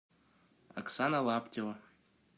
оксана лаптева